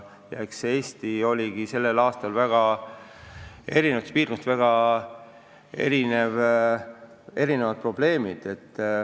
Eestis olidki tänavu eri piirkondades väga erinevad probleemid.